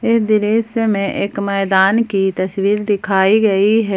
इस दृश्य से मैं एक मैदान की तस्वीर दिखाई गई है।